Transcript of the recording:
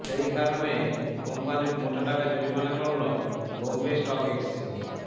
সেই কারণে কোম্পানির মোটা টাকা জরিমানা করল বম্বে স্টক এক্সচেঞ্জ